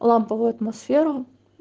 ламповую атмосферу